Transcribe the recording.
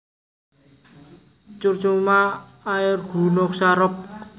Curcuma aeruginosa Roxb